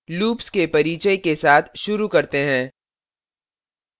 loops के परिचय के साथ शुरू करते हैं